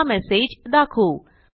हा मेसेज दाखवू